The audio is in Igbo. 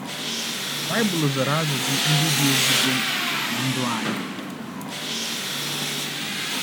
BAỊBỤL zara ajụjụ ndị dị ezigbo mkpa ná ndụ anyị.